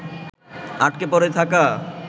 আটকে পড়ে থাকা